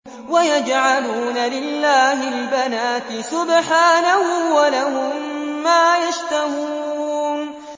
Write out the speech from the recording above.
وَيَجْعَلُونَ لِلَّهِ الْبَنَاتِ سُبْحَانَهُ ۙ وَلَهُم مَّا يَشْتَهُونَ